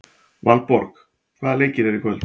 Valborg, hvaða leikir eru í kvöld?